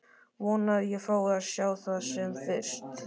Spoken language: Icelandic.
Vona að ég fái að sjá það sem fyrst.